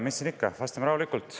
Mis siin ikka, vastame rahulikult.